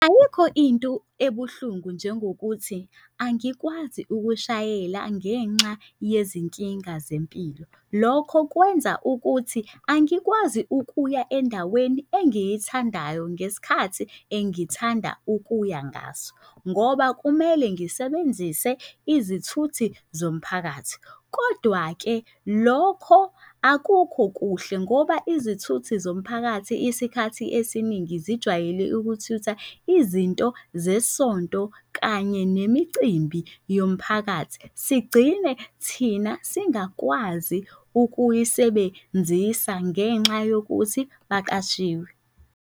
Ayikho into ebuhlungu njengokuthi angikwazi ukushayela ngenxa yezinkinga zempilo. Lokho kwenza ukuthi angikwazi ukuya endaweni engiyithandayo ngesikhathi engithanda ukuya ngaso, ngoba kumele ngisebenzise izithuthi zomphakathi. Kodwa-ke lokho akukho kuhle ngoba izithuthi zomphakathi Isikhathi esiningi zijwayele ukuthutha izinto zesonto kanye nemicimbi yomphakathi sigcine thina singakwazi ukuyisebenzisa ngenxa yokuthi baqashiwe.